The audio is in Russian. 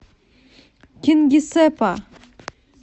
кингисеппа